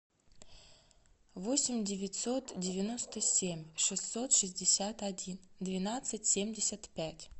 восемь девятьсот девяносто семь шестьсот шестьдесят один двенадцать семьдесят пять